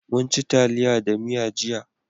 Munci taliya da miya jiya.